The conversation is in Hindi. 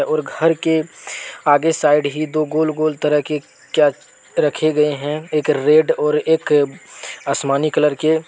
और घर के आगे साइड ही दो गोल गोल तरह के क्या रखे गए हैं एक रेड और एक आसमानी कलर के।